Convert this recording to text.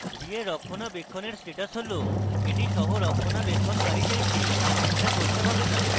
v এর রক্ষণাবেক্ষণের status হল the সহরক্ষণাবেক্ষণকারী চাইছে চিন্তা করতে হবে the